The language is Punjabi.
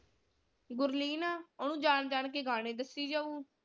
ਗੁਰਲੀਨ ਆ ਓਹਨੂੰ ਜਾਣ ਜਾਣ ਕੇ ਗਾਣੇ ਦਸੀ ਜਾਉ।